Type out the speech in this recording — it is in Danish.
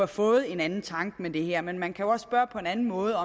fået en anden tanke med det her men man kan jo også spørge på en anden måde